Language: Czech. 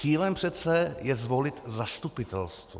Cílem přece je zvolit zastupitelstvo.